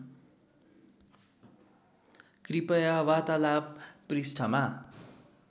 कृपया वार्तालाप पृष्ठमा